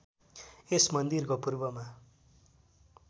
यस मन्दिरको पूर्वमा